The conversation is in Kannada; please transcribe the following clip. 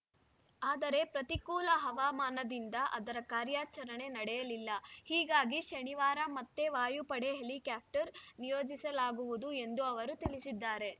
ಆದರೆ ಪ್ರತಿಕೂಲ ಹವಾಮಾನದಿಂದ ಅದರ ಕಾರ್ಯಾಚರಣೆ ನಡೆಯಲಿಲ್ಲ ಹೀಗಾಗಿ ಶನಿವಾರ ಮತ್ತೆ ವಾಯುಪಡೆ ಹೆಲಿಕಾಪ್ಟರ್‌ ನಿಯೋಜಿಸಲಾಗುವುದು ಎಂದು ಅವರು ತಿಳಿಸಿದ್ದಾರೆ